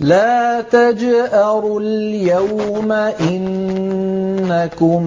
لَا تَجْأَرُوا الْيَوْمَ ۖ إِنَّكُم